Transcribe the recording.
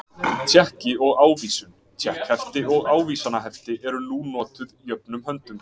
Tékki og ávísun, tékkhefti og ávísanahefti eru nú notuð jöfnum höndum.